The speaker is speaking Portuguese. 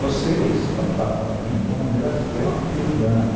Vocês estão tratando a mim de uma maneira extremamente leviana.